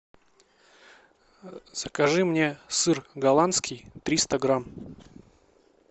закажи мне сыр голландский триста грамм